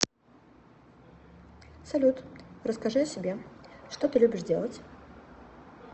салют расскажи о себе что ты любишь делать